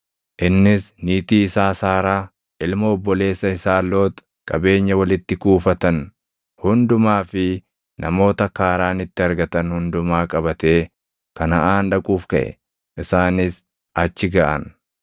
Innis niitii isaa Saaraa, ilma obboleessa isaa Loox, qabeenya walitti kuufatan hundumaa fi namoota Kaaraanitti argatan hundumaa qabatee Kanaʼaan dhaquuf kaʼe; isaanis achi gaʼan.